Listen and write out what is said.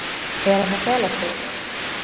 Er hann að fela sig?